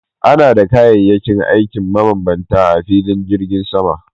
Ana da kayayyakin aikin mabambanta a filin jirgin sama